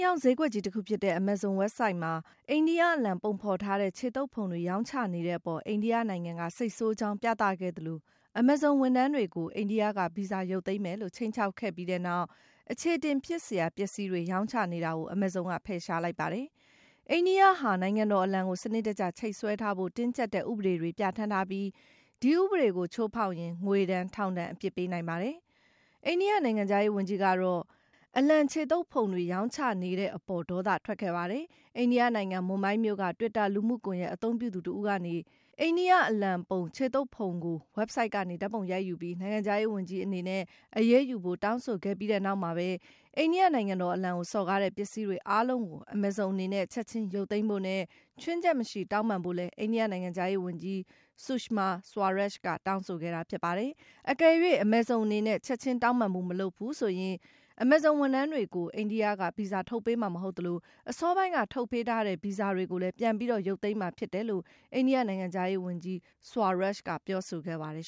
ရောင်းဈေးကွက်ကြီး တခုဖြစ်တဲ့ Amazon ဝဘ်ဆိုဒ်မှာ အိန္ဒိယအလံ ပုံဖော်ထားတဲ့ ခြေသုတ်ဖုံတွေ ရောင်းချနေတဲ့အပေါ် အိန္ဒိယနိုင်ငံက စိတ်ဆိုးကြောင်း ပြသခဲ့သလို Amazon ဝန်ထမ်းတွေကို အိန္ဒိယက ဗီဇာ ရုပ်သိမ်းမယ်လို့ ခြိမ်းခြောက်ခဲ့ပြီးနောက် အချေအတင်ဖြစ်စရာ ပစ္စည်းတွေ ရောင်းချနေတာကို Amazon က ဖယ်ရှားလိုက်ပါတယ်။ အိန္ဒိယဟာ နိုင်ငံတော်အလံကို စနစ်တကျ ချိတ်ဆွဲထားဖို့ တင်းကြပ်တဲ့ ဥပဒေတွေ ပြဌာန်းထားပြီး ဒီဥပဒေကို ချိုးဖောက်ရင် ငွေဒဏ်၊ ထောင်ဒဏ် အပြစ်ပေးနိုင်ပါတယ်။ အိန္ဒိယနိုင်ငံခြားရေးဝန်ကြီးကတော့ အလံခြေသုတ်ဖုံတွေ ရောင်းချခဲ့တဲ့အပေါ် ဒေါသထွက်ခဲ့တာပါ။ အိန္ဒိယနိုင်ငံ မွန်ဘိုင်းမြို့က Twitter လူမှုကွန်ယက် အသုံးပြုသူတဦးက အိန္ဒိယအလံပုံ ခြေသုတ်ဖုံကို ဝဘ်ဆိုဒ်ကနေ ဓာတ်ပုံရိုက်ယူပြီး၊ နိုင်ငံခြားရေးဝန်ကြီးအနေနဲ့ အရေးယူဖို့ တောင်းဆိုခဲ့ပြီးနောက်မှာပဲ အိန္ဒိယနိုင်ငံတော်အလံကို စော်ကားတဲ့ ပစ္စည်းတွေအားလုံးကို Amazon အနေနဲ့ ချက်ခြင်း ရုပ်သိမ်းဖို့နဲ့ ခြွင်းချက်မရှိ တောင်းပန်ဖို့လည်း အိန္ဒိယနိုင်ငံခြားရေးဝန်ကြီး Sushma Swaraj က တောင်းဆိုခဲ့တာ ဖြစ်ပါတယ်။ အကယ်၍ Amazon အနေနဲ့ ချက်ခြင်း တောင်းပန်မှု မလုပ်ဘူးဆိုရင် Amazon ဝန်ထမ်းတွေကို အိန္ဒိယက ဗီဇာ ထုတ်ပေးမှာမဟုတ်သလို အစောပိုင်းက ထုတ်ပေးထားတဲ့ ဗီဇာတွေကိုလည်း ပြန်ပြီး ရုပ်သိမ်းမှာဖြစ်တယ်လို့လည်း အိန္ဒိယနိုင်ငံခြားရေးဝန်ကြီး Swaraj က ပြောဆိုခဲ့ပါတယ်